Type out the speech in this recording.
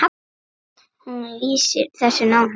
Hún lýsir þessu nánar.